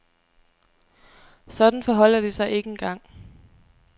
Sådan forholder det sig ikke engang.